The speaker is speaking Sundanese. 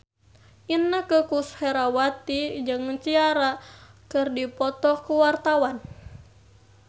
Inneke Koesherawati jeung Ciara keur dipoto ku wartawan